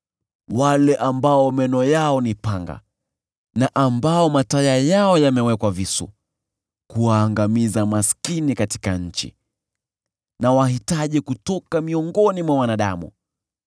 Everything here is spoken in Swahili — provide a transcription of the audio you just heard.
wale ambao meno yao ni panga na ambao mataya yao yamewekwa visu kuwaangamiza maskini katika nchi, na wahitaji kutoka miongoni mwa wanadamu.